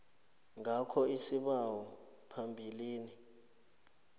ngakho isibawo phambilini